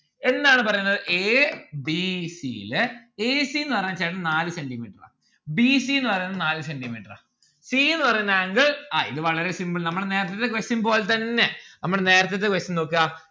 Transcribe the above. എന്താണ് പറയുന്നത് a b c ലെ a c ന്ന്‌ പറയുന്ന ചേട്ടന് നാല് centi metre ആ b c ന്ന്‌ പറയുന്നവന് നാല് centi metre ആ c ന്ന്‌ പറയുന്ന angle ആ ഇത് വളരെ simple നമ്മളെ നേരത്തത്തെ question പോലെത്തന്നെ നമ്മളെ നേരത്തത്തെ question നോക്ക